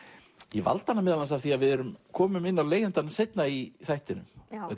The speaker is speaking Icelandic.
ég valdi hana meðal annars af því við komum inn á leigjandann seinna í þættinum